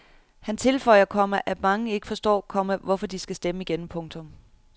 Han tilføjer, komma at mange ikke forstår, komma hvorfor de skal stemme igen. punktum